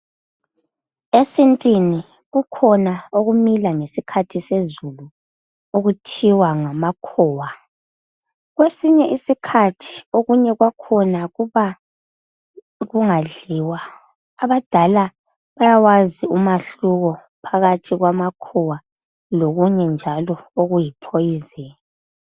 Esintwini kukhona okumila ngeskhathi sezulu okuthiwa ngamakhowa, kwesinye isikhathi kukhona okumila kungadliwa abadala bayakwazi ukukuhlukanisa okunye okuyiphoyizeni.